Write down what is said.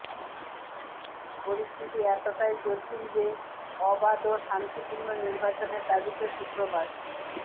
পরিস্থিতি এতটাই জটিল যে অবাধ ও শান্তিপূর্ণ নির্বাচনের দাবিতে শুক্রবার